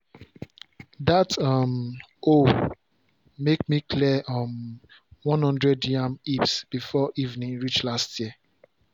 dat um hoe make me clear um one hundred yam heaps before evening reach last year.